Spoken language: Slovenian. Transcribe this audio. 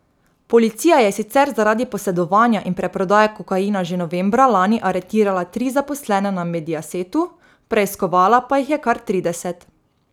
Policija je sicer zaradi posedovanja in preprodaje kokaina že novembra lani aretirala tri zaposlene na Mediasetu, preiskovala pa jih je kar trideset.